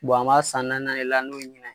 an b'a san naani nan de la